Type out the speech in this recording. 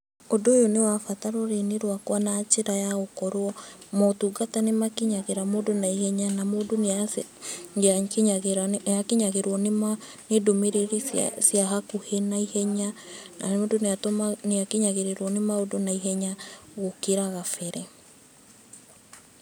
Ũndũ ũyũ nĩ wa bata rũrĩrĩ-inĩ rwakwa na njĩra ya gũkorwo, motungata nĩ makinyagĩra mũndũ na ihenya na mũndũ nĩ atũ nĩ akinyagĩrĩrwo nĩ ndũmĩrĩri cia cia hakuhĩ na ihenya, na mũndũ nĩ akinyagĩrwo nĩ maũndũ na ihenya gũkĩra gabere.